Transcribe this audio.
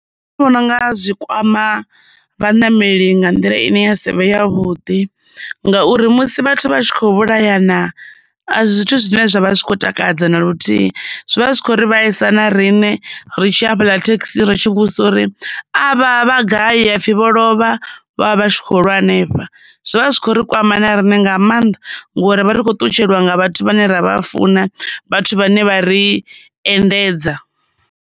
Vhona u nga zwikwama vhaṋameli nga nḓila ine ya sivhe ya vhuḓi, ngauri musi vhathu vha tshi khou vhulayana a si zwithu zwine zwavha zwi khou takadza na luthihi, zwivha zwi khou ri vhaisa na riṋe ri tshi ya hafhaḽa thekhisini ri tshi vhudzisa uri, avha vha gai? hepfhi vho lovha vho vha vha tshi kho lwa hanefha. Zwivha zwi kho ri kwama na riṋe nga maanḓa ngori ri vha ri khou ṱutshelwa nga vhathu vhane ra vha funa, vhathu vhane vha ri endedza.